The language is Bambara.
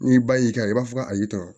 N'i ba y'i kan i b'a fɔ a y'i tɔɔrɔ